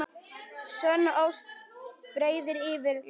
Sönn ást breiðir yfir lesti.